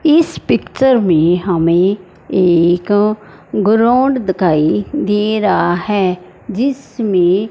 इस पिक्चर में हमें एक ग्राउंड दिखाई दे रहा है जिसमें--